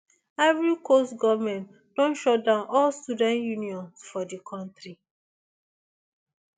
ivory coast goment don shut down all student unions for di kontri